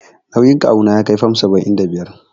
Nauyin kawu na ya kai fam saba'in da biyar.